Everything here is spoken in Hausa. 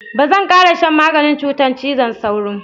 Ba zan ƙara shan maganin cutar cizon sauro.